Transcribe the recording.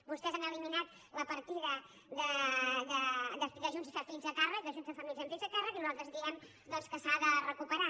vostès han eliminat la partida d’ajuts a fills a càrrec d’ajuts a famílies amb fills a càrrec i nosaltres diem doncs que s’ha de recuperar